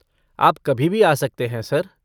आप कभी भी आ सकते हैं, सर।